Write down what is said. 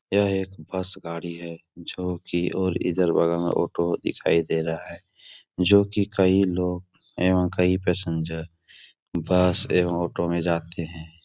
यह एक बस गाड़ी है जो कि और इधर बगल में ऑटो दिखाई दे रहा है। जो कि कई लोग एवं कई पैसेंजर बस एवं ऑटो में जाते हैं।